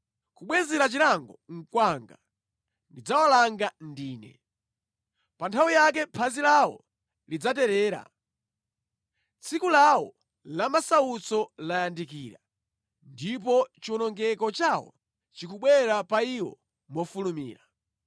Kubwezera chilango nʼkwanga; ndidzawalanga ndine. Pa nthawi yake phazi lawo lidzaterera; tsiku lawo la masautso layandikira ndipo chiwonongeko chawo chikubwera pa iwo mofulumira.”